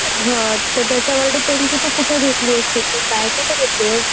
मग हां तर त्याच्यावर depend की तू कुठे घेतलीयेस शेती कुठे घेतलीयेस?